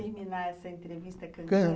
Eu só quero terminar essa entrevista cantando.